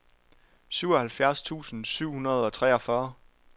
syvoghalvfjerds tusind syv hundrede og treogfyrre